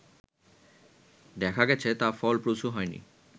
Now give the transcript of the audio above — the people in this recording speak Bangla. দেখা গেছে তা ফলপ্রসূ হয়নি